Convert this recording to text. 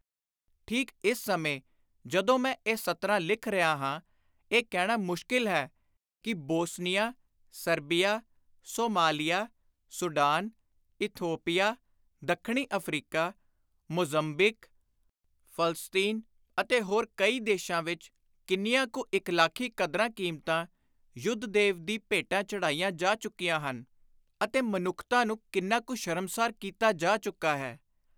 ਠੀਕ ਇਸ ਸਮੇਂ, ਜਦੋਂ ਮੈਂ ਇਹ ਸਤਰਾਂ ਲਿਖ ਰਿਹਾ ਹਾਂ, ਇਹ ਕਹਿਣਾ ਮੁਸ਼ਕਿਲ ਹੈ ਕਿ Bosnia, Serbia, Somalia, Sudan, Ethiopia, ਦੱਖਣੀ ਅਫ਼ਰੀਕਾ, ਮੋਜ਼ੰਮਬੀਕ, ਫਲਸਤੀਨ ਅਤੇ ਹੋਰ ਕਈ ਦੇਸ਼ਾਂ ਵਿਚ ਕਿੰਨੀਆਂ ਕੂ ਇਖ਼ਲਾਕੀ ਕਦਰਾਂ-ਕੀਮਤਾਂ ਯੁੱਧ-ਦੇਵ ਦੀ ਭੇਟਾ ਚੜ੍ਹਾਈਆਂ ਜਾ ਚੁੱਕੀਆਂ ਹਨ ਅਤੇ ਮਨੁੱਖਤਾ ਨੂੰ ਕਿੰਨਾ ਕੁ ਸ਼ਰਮਸਾਰ ਕੀਤਾ ਜਾ ਚੁੱਕਾ ਹੈ।